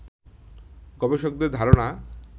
গবেষকদের ধারণা